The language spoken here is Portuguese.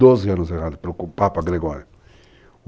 Doze anos errados para o Papa Gregório.